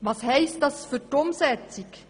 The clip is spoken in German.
Was bedeutet das für die Umsetzung?